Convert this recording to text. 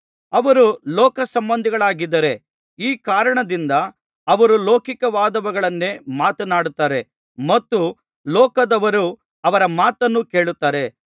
ಅವರು ಲೋಕಸಂಬಂಧಿಗಳಾಗಿದ್ದಾರೆ ಈ ಕಾರಣದಿಂದ ಅವರು ಲೌಕಿಕವಾದುದನ್ನೇ ಮಾತನಾಡುತ್ತಾರೆ ಮತ್ತು ಲೋಕದವರು ಅವರ ಮಾತನ್ನು ಕೇಳುತ್ತಾರೆ